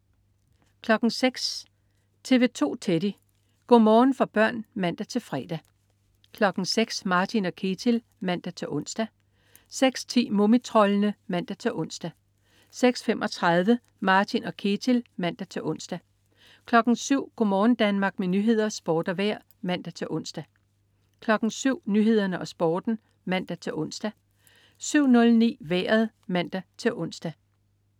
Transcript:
06.00 TV 2 Teddy. Go' morgen for børn (man-fre) 06.00 Martin & Ketil (man-ons) 06.10 Mumitroldene (man-ons) 06.35 Martin & Ketil (man-ons) 07.00 Go' morgen Danmark- med nyheder, sport og vejr (man-ons) 07.00 Nyhederne og Sporten (man-ons) 07.09 Vejret (man-ons)